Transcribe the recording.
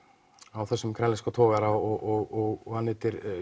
á þessum grænlenska togara og hann heitir